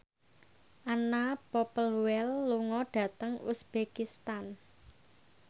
Anna Popplewell lunga dhateng uzbekistan